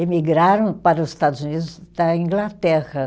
emigraram para os Estados Unidos da Inglaterra.